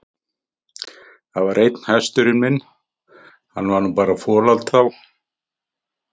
Það var einn hesturinn minn, hann var nú bara folald þá.